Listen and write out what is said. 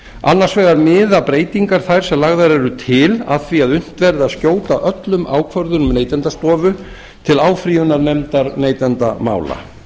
annars vegar miða breytingar þær sem lagðar eru til að því að unnt verði að skjóta öllum ákvörðunum neytendastofu til áfrýjunar nefndar neytendamála